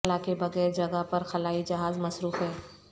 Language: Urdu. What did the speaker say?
خلا کے بغیر جگہ پر خلائی جہاز مصروف ہے